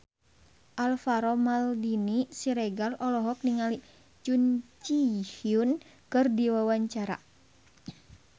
Alvaro Maldini Siregar olohok ningali Jun Ji Hyun keur diwawancara